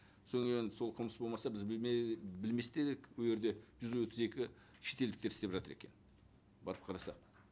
сол енді сол қылмыс болмаса біз білмес те едік ол жерде жүз отыз екі шетелдіктер істеп жатыр екен барып қарасақ